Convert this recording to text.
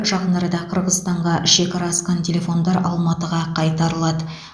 жақын арада қырғызстанға шекара асқан телефондар алматыға қайтарылады